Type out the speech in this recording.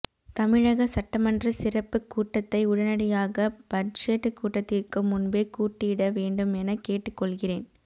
தமிழக சட்டமன்ற சிறப்புக் கூட்டத்தை உடனடியாக பட்ஜெட் கூட்டத்திற்கு முன்பே கூட்டிட வேண்டுமென கேட்டுக் கொள்கிறேன்